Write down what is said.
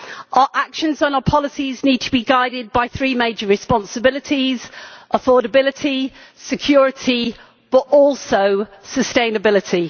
Our actions and our policies need to be guided by three major responsibilities affordability, security and also sustainability.